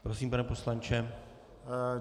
Prosím, pane poslanče.